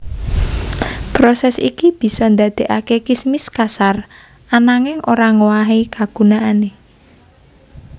Proses iki bisa ndadekake kismis kasar ananging ora ngowahi kagunaane